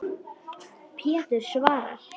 Pétur svarar.